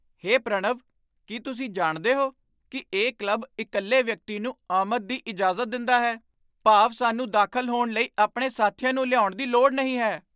ਹੇ ਪ੍ਰਣਵ, ਕੀ ਤੁਸੀਂ ਜਾਣਦੇ ਹੋ ਕਿ ਇਹ ਕਲੱਬ ਇਕੱਲੇ ਵਿਅਕਤੀ ਨੂੰ ਆਮਦ ਦੀ ਇਜਾਜ਼ਤ ਦਿੰਦਾ ਹੈ? ਭਾਵ ਸਾਨੂੰ ਦਾਖ਼ਲ ਹੋਣ ਲਈ ਆਪਣੇ ਸਾਥੀਆਂ ਨੂੰ ਲਿਆਉਣ ਦੀ ਲੋੜ ਨਹੀਂ ਹੈ!